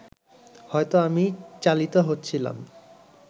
হয়তো আমি চালিত হচ্ছিলাম